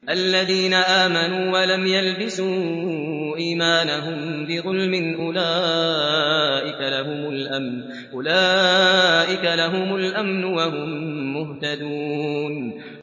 الَّذِينَ آمَنُوا وَلَمْ يَلْبِسُوا إِيمَانَهُم بِظُلْمٍ أُولَٰئِكَ لَهُمُ الْأَمْنُ وَهُم مُّهْتَدُونَ